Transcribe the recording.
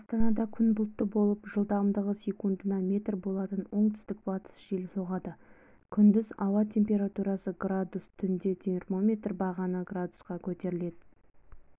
астанада күн бұлтты болып жылдамдығы секундына метр болатын оңтүстік-батыстық жел соғады күндіз ауа температурасы градус түнде термометр бағаны градусқа көтеріледі